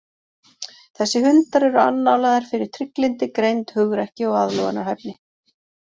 Þessir hundar eru annálaðir fyrir trygglyndi, greind, hugrekki og aðlögunarhæfni.